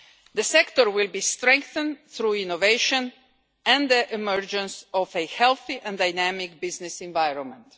The sector will be strengthened through innovation and the emergence of a healthy and dynamic business environment.